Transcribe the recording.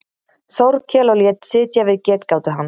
Þórkel og lét sitja við getgátu hans.